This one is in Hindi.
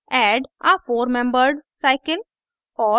add a four membered cycle